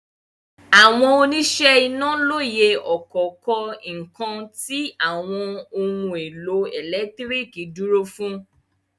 Àwọn oníṣẹ́ iná lóye ọ̀kọ̀ọ̀kan nǹkan tí àwọn ohun-èlò ẹ̀lẹ́tíríkì dúró fún.